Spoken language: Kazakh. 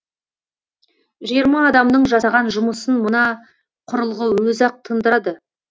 жиырма адамның жасаған жұмысын мына құрылғы өзі ақ тындырады